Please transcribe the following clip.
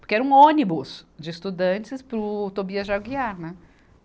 Porque era um ônibus de estudantes para o Tobias de Aguiar, né?